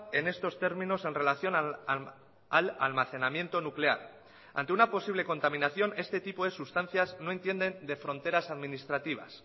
en estos términos en relación al almacenamiento nuclear ante una posible contaminación este tipo de sustancias no entienden de fronteras administrativas